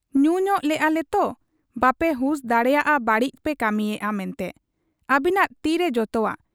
ᱧᱩᱧᱚᱜ ᱞᱮᱜ ᱟ ᱞᱮᱛᱚ, ᱵᱟᱯᱮ ᱦᱩᱥ ᱫᱟᱲᱮᱭᱟᱫ ᱟ ᱵᱟᱹᱲᱤᱡ ᱯᱮ ᱠᱟᱹᱢᱤᱭᱮᱜ ᱟ ᱢᱮᱱᱛᱮ ᱾ ᱟᱹᱵᱤᱱᱟᱜ ᱛᱤᱨᱮ ᱡᱚᱛᱚᱣᱟᱜ ᱾